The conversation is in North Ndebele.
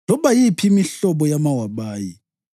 loba yiphi imihlobo yamawabayi,